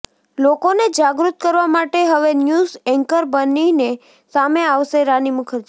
લોકોને જાગૃત કરવા માટે હવે ન્યૂઝ એન્કર બનીને સામે આવશે રાની મુખર્જી